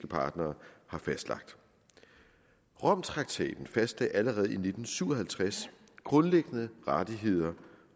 partnere har fastlagt romtraktaten fastlagde allerede i nitten syv og halvtreds grundlæggende rettigheder